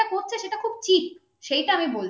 খুব ঠিক সেটা আমি বলছি